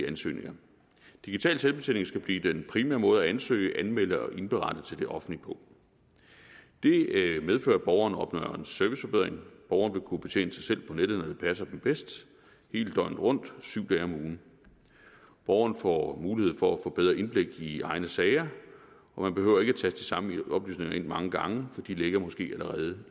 ansøgninger digital selvbetjening skal blive den primære måde at ansøge anmelde og indberette til det offentlige på det medfører at borgerne opnår en serviceforbedring borgerne vil kunne betjene sig selv på nettet når det passer dem bedst hele døgnet rundt syv dage om ugen borgerne får mulighed for at få bedre indblik i egne sager og man behøver ikke de samme oplysninger ind mange gange for de ligger måske allerede